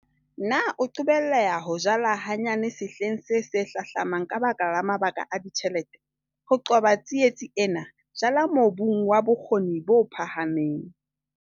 Na o qobelleha ho jala hanyane sehleng se se hlahlamang ka baka la mabaka a ditjhelete? Ho qoba tsietsi ena, jala mobung wa bokgoni bo phahameng.